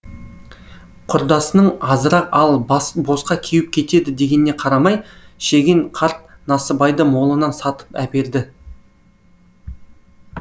құрдасының азырақ ал босқа кеуіп кетеді дегеніне қарамай шеген қарт насыбайды молынан сатып әперді